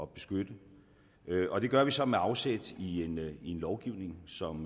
beskytte og det gør vi så med afsæt i lovgivning som